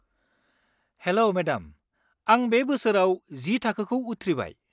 हेल' madam, आं बे बोसोराव जि थाखोखौ उथ्रिबाय।